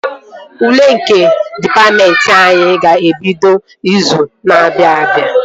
Ule nke dịpatmentị anyị ga-ebido izu na-abịa